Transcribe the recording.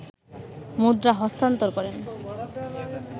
মুদ্রা হস্তান্তর করেন